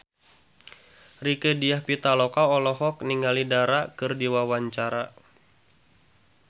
Rieke Diah Pitaloka olohok ningali Dara keur diwawancara